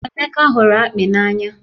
Emeka hụrụ akpị n'anya